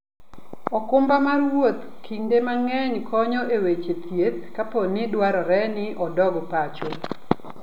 okumba mar wuoth kinde mang'eny konyo e weche thieth kapo ni dwarore ni odog pacho.